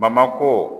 Bamakɔ